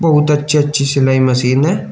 उधर अच्छी अच्छी सिलाई मशीन है।